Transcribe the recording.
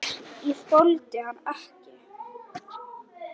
Ég þoldi hann ekki.